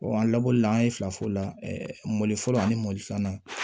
an labɔli la an ye fila fɔ o la mori fɔlɔ ani mɔli filanan